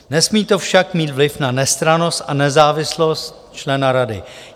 Nesmí to však mít vliv na nestrannost a nezávislost člena rady.